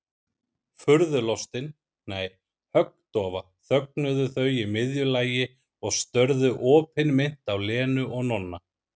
Furðulostin, nei, höggdofa þögnuðu þau í miðju lagi og störðu opinmynnt á Lenu og Nonna.